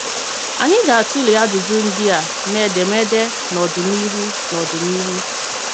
Ànyị gātụle ajụjụ ndị a n’edemede n’ọdịnihu. n’ọdịnihu.